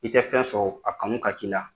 I tɛ fɛn sɔrɔ, a kanu ka k'i la.